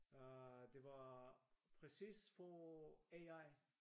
Øh det var præcis for AI